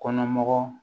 Kɔnɔ mɔgɔ